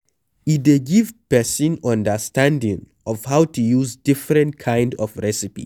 E dey give person understanding of how to use different kind of recipe